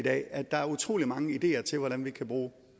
i dag at der er utrolig mange ideer til hvordan vi kan bruge